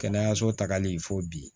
Kɛnɛyaso tagali fo bi